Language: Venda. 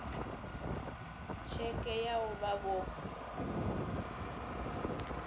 tsheke vha o vha vho